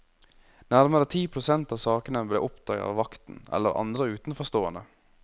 Nærmere ti prosent av sakene ble oppdaget av vakten eller andre utenforstående.